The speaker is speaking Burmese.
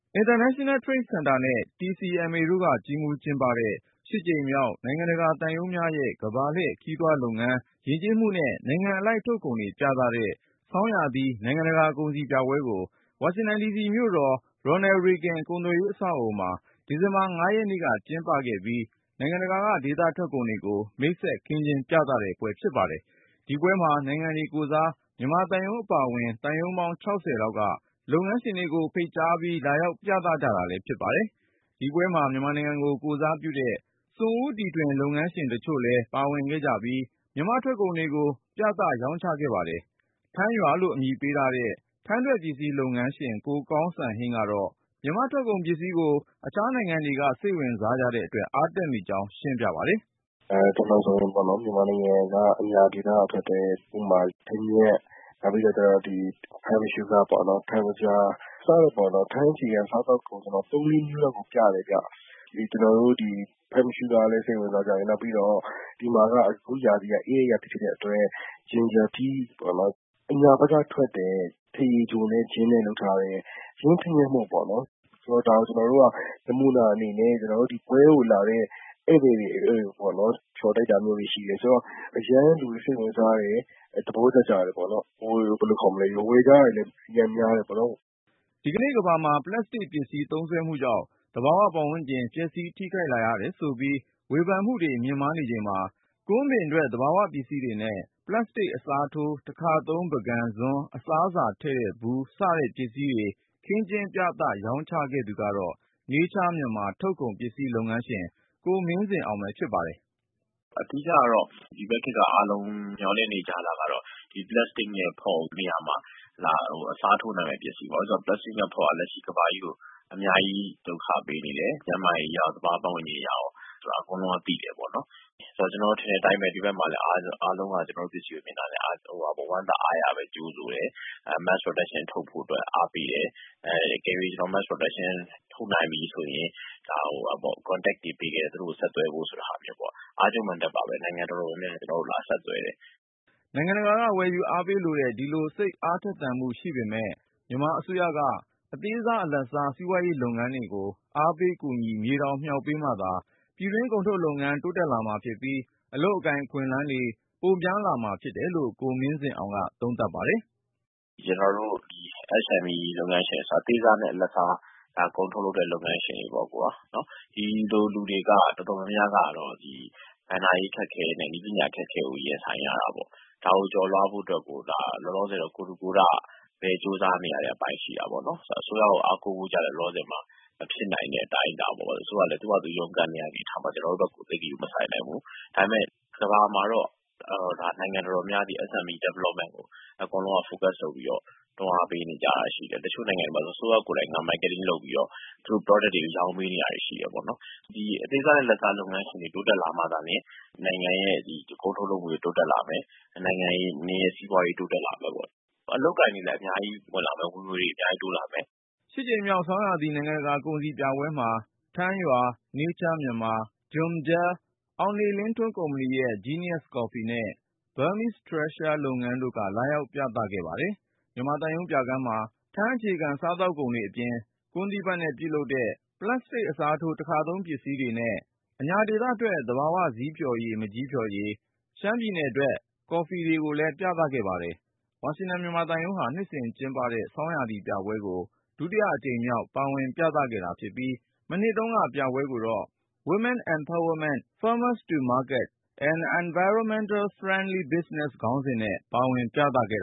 International Trade Center နဲ့ TCMA တို့က ကြီးမှူးကျင်းပတဲ့ ကြိမ်မြောက် နိုင်ငံတကာသံရုံးများရဲ့ ကမ္ဘာလှည့် ခရီးသွားလုပ်ငန်း၊ ယဉ်ကျေးမှုနဲ့ နိုင်ငံအလိုက် ထုတ်ကုန်တွေပြသတဲ့ ဆောင်းရာသီ နိုင်ငံတကာကုန်စည်ပြပွဲကို ဝါရှင်တန်ဒီစီမြို့တော် Ronald Reagan ကုန်သွယ်ရေးအဆောက်အဦမှာ ဒီဇင်ဘာ ရက်နေ့က ကျင်းပခဲ့ပြီး နိုင်ငံတကာက ဒေသထွက်ကုန်တွေကို မိတ်ဆက် ခင်းကျင်းပြသတဲ့ပွဲ ဖြစ်ပါတယ်။ ဒီပြပွဲမှာ နိုင်ငံတွေကိုယ်စား မြန်မာသံရုံးအပါအဝင် သံရုံးပေါင်း ၆၀ လောက်က လုပ်ငန်းရှင်တွေကို ဖိတ်ခေါ်ပြီး လာရောက် ပြသ ကြတာ ဖြစ်ပါတယ်။ ဒီပွဲမှာ မြန်မာနိုင်ငံကို ကိုယ်စားပြုတဲ့ စွန့်ဦးတီထွင် လုပ်ငန်းရှင်တချို့လည်း ပါဝင်ခဲ့ကြပြီး မြန်မာ့ထွက်ကုန်တွေကို ပြသရောင်းချခဲ့ပါတယ်။ ထန်းရွာ (Toddy Palm Village) လို့အမည်ပေးထားတဲ့ ထန်းထွက်ပစ္စည်း လုပ်ငန်းရှင် ကိုကောင်စံဟိန်းကတော့ မြန်မာ့ထွက်ကုန်ပစ္စည်းကို အခြားနိုင်ငံတွေက စိတ်ဝင်စားကြတဲ့အတွက် အားတက်မိကြောင်း ရှင်းပြပါတယ်။ “ ကျနေ်ာဆိုရင် မြန်မာနိုင်ငံ အညာဒေသကထွက်တဲ့ ထန်းညှက်၊ ထန်းသကြား စတဲ့ ထန်းအခြေခံ စားသောက်ကုန် ၃၊၄ မျိုးလောက်ကို ပြတယ်ခင်ဗျ။ ကျနော်တို့ ဒီ Plam sugar ကိုလည်း စိတ်ဝင်စားကြတယ်။ နောက်ပြီးတော့ အခုရာသီက အေးတဲ့ရာသီဖြစ်တဲ့အတွက် အညာဒေသကထွက်တဲ့ ထန်းရေချိုနဲ့ ဂျင်းနဲ့ လုပ်ထားတဲ့ ပစ္စည်းကို ဒါကို ကျနော်တို့က နမူနာအနေနဲ့ ပွဲကိုလာတဲ့ ဧည့်သည်တွေကို ဖျော်တိုက်တာမျိုးတွေ ရှိတယ်ဆိုတော့ လူတွေအရမ်းစိတ်ဝင်စားကြတယ် သဘောကျတယ်။ ဝယ်ကြတာတွေလည်း များတယ်ပေါ့နော်။” ဒီကနေ့ကမ္ဘာမှာ ပလပ်စတစ်ပစ္စည်း သုံးစွဲမှုကြောင့် သဘာဝပတ်ဝန်းကျင် ပျက်စီး ထိခိုက်လာရတယ်ဆိုပြီး ဝေဖန်မှုတွေ မြင့်မားနေချိန်မှာ ကွမ်းပင်ထွက် သဘာဝပစ္စည်းတွေနဲ့ ပလပ်စတစ်အစားထိုး တခါသုံးပန်းကန်၊ ဇွန်း၊ အစားအစာထည့်တဲ့ဗူး စတဲ့ပစ္စည်းတွေ ခင်းကျင်းပြသ ရောင်းချခဲ့သူကတော့ Nature Myanmar ထုတ်ကုန်ပစ္စည်း လုပ်ငန်းရှင် ကိုမင်းကျော်ဇင်ပဲ ဖြစ်ပါတယ်။ “အဓိကတော့ ဒီဘက်ခေတ်က အားလုံးမျှော်လင့်နေကြတာကတော့ ပလပ်စတစ် နဲ့ ဖော့ဘူးနေရာမှာ အစားသုံးနိုင်မယ့်ပစ္စည်းပေါ့နော်။ ဘာဖြစ်လို့လဲဆိုတော့ ပလပ်စတစ် နဲ့ ဖော့ဘူးက ကမ္ဘာကြီးကို အများကြီး ဒုက္ခပေးနေတယ်။ ကျန်းမာရေးအရရော သဘာ၀ ပတ်ဝန်းကျင်အရရော ဆိုတာ အကုန်လုံးက သိတယ်ပေါ့နော်။ ကျနော်ထင်တဲ့အတိုင်းပဲ ဒီဘက်မှာလည်း အားလုံးက ကျနော်တို့ ပစ္စည်းကို မြင်တာနဲ့ ဝမ်းသာအားရနဲ့ ကြိုဆိုတယ်။ Mass Production ထုတ်ဖို့အတွက် အားပေးတယ်။ တကယ်လို့ Mass Production ထုတ်နိုင်ပြီဆိုရင် သူတို့ကို ဆက်သွယ်ဖို့ contact တွေပေးခဲ့တယ်။ နိုင်ငံတော်တော်များများလည်း ကျနော်တို့ကို လာဆက်သွယ်တယ်။” နိုင်ငံတကာက ဝယ်ယူအားပေးလိုတဲ့ ဒီလို စိတ်အားထက်သန်မှုရှိပေမဲ့ မြန်မာအစိုးရက အသေးစား အလတ်စား စီးပွားရေးလုပ်ငန်းတွေကို အားပေးကူညီ မြေတောင်မြှောက်ပေးမှသာ ပြည်တွင်းထုတ်ကုန်လုပ်ငန်း တိုးတက်လာမှာဖြစ်ပြီး၊ အလုပ်အကိုင် အခွင့်အလမ်းတွေ ပိုများ လာမှာဖြစ်တယ်လို့ ကိုမင်းကျော်ဇင်က သုံးသပ်ပါတယ်။ “ကျနော်တို့ SMES အသေးစားနဲ့ အလတ်စား ကုန်ထုတ်လုပ်တဲ့ လုပ်ငန်းရှင်တွေ တော်တော်များများကတော့ ဘဏ္ဍာရေးအခက်အခဲနဲ့ နည်းပညာ အခက်အခဲကို ရင်ဆိုင်ရတာပေါ့နော်။ ဒါတွေကို ကျော်လွှားဖို့အတွက်ကို လောလောဆည်တော့ ကိုယ်ထူကိုယ်ထပဲ ကြိုးစားနေရတယ်။ အစိုးရကို အားကိုးဖို့လည်း လောလောဆည်မှာ မဖြစ်နိုင်တဲ့ အတိုင်းအတာ ၊ အစိုးရကလည်း သူ့ဟာသူ ရုန်းကန်နေရတဲ့ အနေအထားမှာ ကျနော်တို့ ဘက်ကို သိပ်ဂရုမစိုက်နိုင်ဘူး ။ ဒါပေမယ့် ကမ္ဘာမှာတော့ နိုင်ငံတော်တော်များများကတော့ SME Development ကို အကုန်လုံးက focus ဆိုပြီးတော့ တွန်းအားပေးနေတာရှိတယ်။ တချို့နိုင်ငံမှာ အစိုးရ ကိုယ်တိုင်က Marketing လုပ်ပြီးတော့ သူတို့ Product တွေကို ရောင်းပေးနေတာတွေရှိတယ်။ အသေးစားနဲ့ အလတ်စား လုပ်ငန်းရှင်တွေ တိုးတက်လာမှ နိုင်ငံရဲ့ ကုန်ထုတ်လုပ်မှုတွေ တိုးတက်လာမယ်၊ နိုင်ငံရဲ့ စီးပွားရေး တိုးတက်လာမယ်ပေါ့နော် ၊ အလုပ်အကိုင်တွေလည်း အများကြီး ဝင်လာမယ်၊ ဝင်ငွေတွေလည်း အများကြီးတိုးလာမယ်” ကြိမ်မြောက် ဆောင်းရာသီ နိုင်ငံတကာကုန်စည်ပြပွဲမှာ ထန်းရွာ(Toddy Palm Village) ၊ Nature Myanmar ၊ JUMJEL ၊ အောင်နေ လင်းထွန်းကုမ္ပဏီရဲ့ Genius Coffee နဲ့ Burmese Treasure လုပ်ငန်းတို့က လာရောက်ပြသခဲ့ပါတယ်။ မြန်မာသံရုံးပြခန်းမှာ ထန်းအခြေခံ စားသောက်ကုန်တွေအပြင်၊ ကွမ်းသီးဖတ်နဲ့ ပြုလုပ်ထားတဲ့ ပလတ်စတစ်အစားထိုး တခါသုံးပန်းကန်၊ ဇွန်း၊ အစားအသောက်ထည့်တဲ့ဗူး စတာတွေနဲ့ ၊ အညာဒေသထွက် သဘာဝဇီးဖျော်ရည်၊ မန်ကျည်းဖျော်ရည်၊ ရှမ်းပြည်နယ်က ကော်ဖီတွေ ပြသခဲ့ပါတယ်။ ဝါရှင်တန် မြန်မာ သံရုံးဟာ နှစ်စဉ်ကျင်းပတဲ့ ဆောင်းရာသီပြပွဲကို ဒုတိယအကြိမ် ပါဝင်ပြသခဲ့တာဖြစ်ပြီး၊ မနှစ်တုန်းကပြပွဲကို “ Women Empowerment, Farmers to Markets & Environmental-Friendly-business” ခေါင်းစဉ်နဲ့ ပါဝင်ပြသခဲ့